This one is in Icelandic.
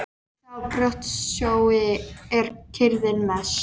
Eftir þá brotsjói er kyrrðin mest.